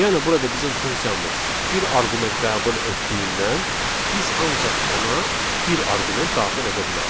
Yəni burada bizim funksiyamız bir arqument qəbul etdiyindən biz ancaq ona bir arqument daxil edə bilərik.